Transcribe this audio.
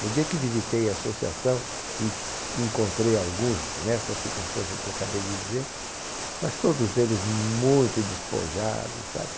No dia que visitei a associação e encontrei alguns nessas circunstâncias que acabei de dizer, mas todos eles muito despojados, sabe?